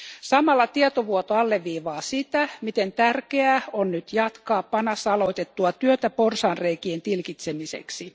Samalla tietovuoto alleviivaa sitä, miten tärkeää on nyt jatkaa PANAssa aloitettua työtä porsaanreikien tilkitsemiseksi.